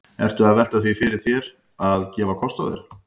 Ertu að velta því fyrir þér að, að gefa kost á þér?